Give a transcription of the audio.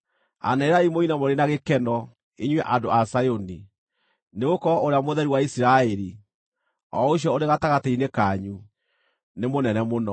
Anĩrĩrai mũine mũrĩ na gĩkeno, inyuĩ andũ a Zayuni, nĩgũkorwo Ũrĩa Mũtheru wa Isiraeli, o ũcio ũrĩ gatagatĩ-inĩ kanyu, nĩ mũnene mũno.”